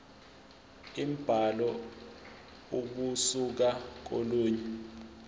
imibhalo ukusuka kolunye